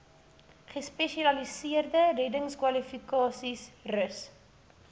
gespesialiseerde reddingskwalifikasies rus